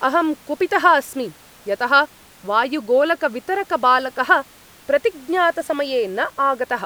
अहं कुपितः अस्मि यतः वायुगोलकवितरकबालकः प्रतिज्ञातसमये न आगतः।